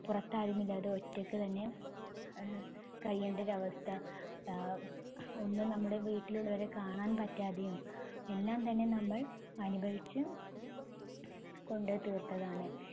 പുറത്താരുമില്ലാതെ ഒറ്റക്ക് തന്നെ ആഹ് കഴിയേണ്ട ഒരവസ്ഥ. ആഹ് ഒന്ന് നമ്മടെ വീട്ടിലുള്ളവരെ കാണാൻ പറ്റാതെയും എല്ലാം തന്നെ നമ്മൾ അനുഭവിച്ച് കൊണ്ട് തീർത്തതാണ്.